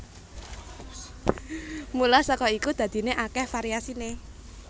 Mula saka iku dadiné akèh variasiné